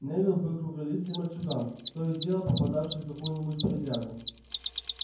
невилл был круглолицый мальчуган то и дело попадавший в какую-нибудь передрягу